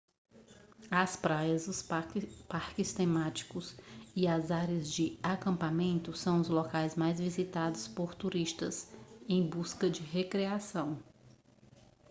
as praias os parques temáticos e as áreas de acampamento são os locais mais visitados por turistas em busca de recreação